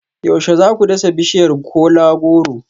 Yaushe za ku dasa bishiyar kola-goro